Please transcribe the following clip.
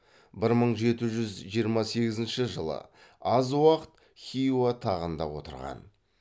бір мың жеті жүз жиырма сегізінші жылы аз уақыт хиуа тағында отырған